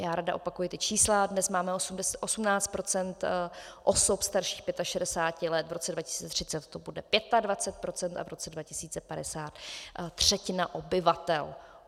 Já ráda opakuji ta čísla - dnes máme 18 % osob starších 65 let, v roce 2030 to bude 25 % a v roce 2050 třetina obyvatel.